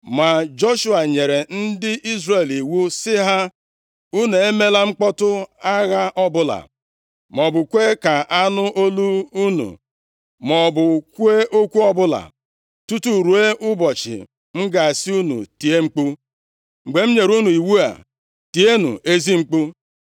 Ma Joshua nyere ndị Izrel iwu sị ha, “Unu emela mkpọtụ agha ọbụla, maọbụ kwee ka anụ olu unu, maọbụ kwuo okwu ọbụla, tutu ruo ụbọchị m ga-asị unu tie mkpu. Mgbe m nyere unu iwu a, tienụ ezi mkpu.”